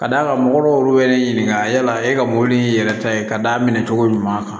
Ka d'a kan mɔgɔw y'olu wɛrɛ ɲininka yala e ka mɔbili yɛrɛ ta ye ka d'a minɛ cogo ɲuman kan